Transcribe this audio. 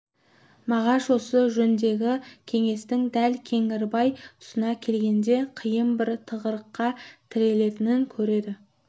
мағаш осы жөндегі кеңестің дәл кеңгірбай тұсына келгенде қиын бір тығырыққа тірелетінін көреді